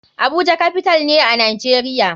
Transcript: Abuja capital ne a nijeria.